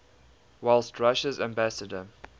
whilst russia's ambassador